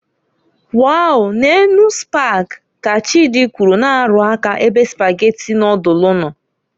"Wow, neenu Spag", ka Chidi kwụrụ, na- arụ aka ebe Spaghetti nodulu no.